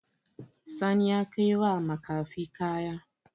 Sani ya kaiwa makafi kaya.